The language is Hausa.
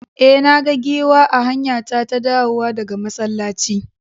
E, na ga giwa a hanyata ta dawowa daga masallaci.